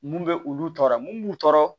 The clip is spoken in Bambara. Mun bɛ olu tɔɔrɔ mun b'u tɔɔrɔ